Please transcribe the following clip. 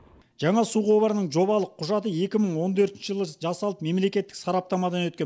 жаңа су құбырының жобалық құжаты екі мың он төртінші жылы жасалып мемлекеттік сараптамадан өткен